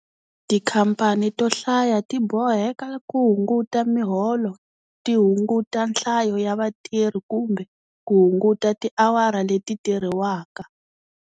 Tikhamphani to hlaya ti boheke ku hunguta miholo, ti hunguta nhlayo ya vatirhi kumbe ku hunguta tiawara leti tirhiwaka.